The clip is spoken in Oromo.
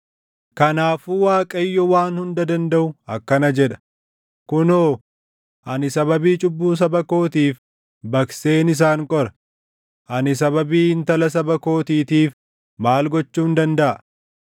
Kanaafuu Waaqayyo Waan Hunda Dandaʼu akkana jedha: “Kunoo, ani sababii cubbuu saba kootiif baqseen isaan qora; ani sababii intala saba kootiitiif maal gochuun dandaʼa?